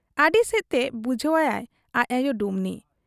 ᱟᱹᱰᱤᱥᱮᱫ ᱛᱮ ᱵᱩᱡᱷᱟᱹᱣ ᱟᱭᱟᱭ ᱟᱡ ᱟᱭᱚ ᱰᱩᱢᱱᱤ ᱾